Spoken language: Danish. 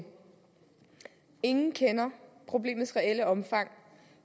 ingen kender problemets reelle omfang